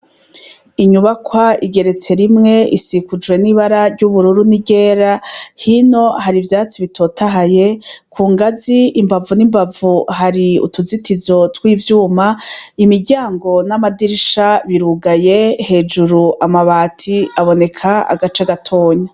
Inyubakwa igeretse rimwe isikujwe n’ibara ryubururu n’iryera hino hari ivyatsi bitotahaye ku ngazi imbavu n’imbavu hari utuzitizo tw’ivyuma imiryango n’amadirisha birugaye hejuru amabati aboneka agace gatoyi.